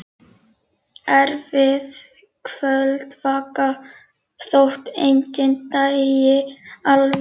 Erfið kvöldvakt, þótt enginn dæi alveg.